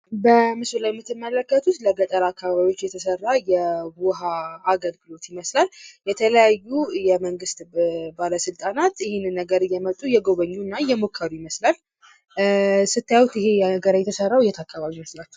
በምስሉ ላይ የምትመለከቱት ለገጠር አካባቢዎች የተሠራ የውኃ አገልግሎት ይመስላል። የተለያዩ የመንግሥት ባለሥልጣናት ይህንን ነገር እየመጡ እየጎበኙና እየሞከሩ ይመስላል። ስታዩት ይሄ ነገር የተሰራው የት አካባቢ ይመስላችኋል?